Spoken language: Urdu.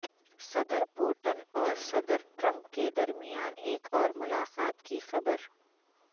صدر پوٹن اور صدر ٹرمپ کے درمیان ایک اور ملاقات کی خبر